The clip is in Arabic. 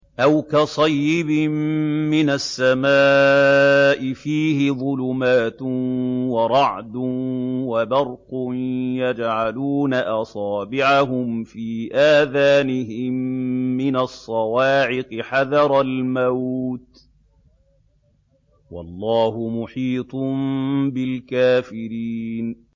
أَوْ كَصَيِّبٍ مِّنَ السَّمَاءِ فِيهِ ظُلُمَاتٌ وَرَعْدٌ وَبَرْقٌ يَجْعَلُونَ أَصَابِعَهُمْ فِي آذَانِهِم مِّنَ الصَّوَاعِقِ حَذَرَ الْمَوْتِ ۚ وَاللَّهُ مُحِيطٌ بِالْكَافِرِينَ